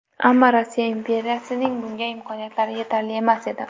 Ammo Rossiya imperiyasining bunga imkoniyatlari yetarli emas edi.